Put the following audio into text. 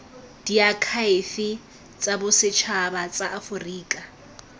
diakhaefe tsa bosetšhaba tsa aforika